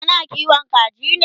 kana kiwon kaji ne?